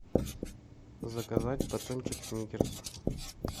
заказать батончик сникерс